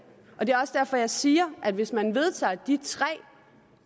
og det er også derfor jeg siger at hvis man vedtager de tre